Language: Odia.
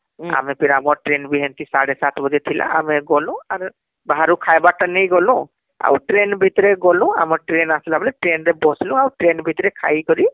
ଆମେ ଫିର ଆମ ଟ୍ରେନ ବି ହେଂତି ସାଡେ ସାତ ବଜେ ଆଡେ ଥିଲା ଆମେ ଗଲୁ ବାହାରୁ ଖାଇବାର ଟା ନେଇକି ଗଲୁ ଆଉtrain ଭିତରେ ଗଲୁ ଆମେtrain ଆସିଲା ବେଲେtrain ରେ ବସିଲୁ ଆଉtrain ଭିତରେ ଖାଇ କରି